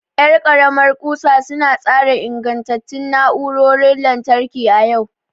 Yar karamar kusa su na tsara ingantattun na'urorin lantarki a yau.